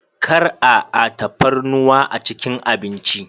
Kar a a tafarnuwa a cikin abinci.